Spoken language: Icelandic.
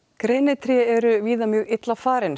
grenitré eru víða mjög illa farin